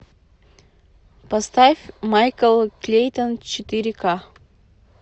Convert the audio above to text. поставь майкл клейтон четыре ка